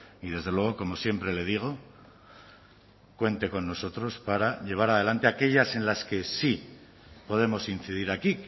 y desde luego como siempre le digo cuente con nosotros para llevar adelante aquellas en las que sí podemos incidir aquí